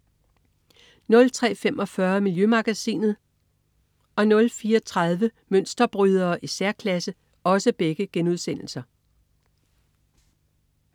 03.45 Miljømagasinet* 04.30 Mønsterbrydere i særklasse*